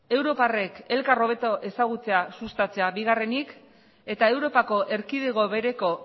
europarrek elkar hobeto ezagutzea sustatzea bigarrenik eta europako erkidego bereko